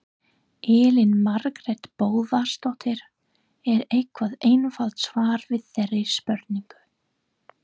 Elín Margrét Böðvarsdóttir: Er eitthvað einfalt svar við þeirri spurningu?